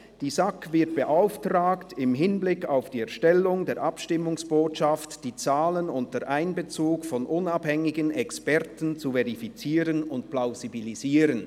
«Die SAK wird beauftragt, im Hinblick auf die Erstellung der Abstimmungsbotschaft die Zahlen unter Einbezug von unabhängigen Experten zu verifizieren und plausibilisieren.